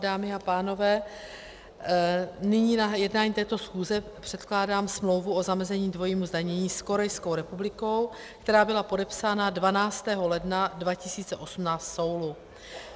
Dámy a pánové, nyní na jednání této schůze předkládám smlouvu o zamezení dvojímu zdanění s Korejskou republikou, která byla podepsána 12. ledna 2018 v Soulu.